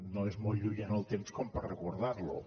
no és molt lluny en el temps per recordarlo